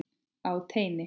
Á teini.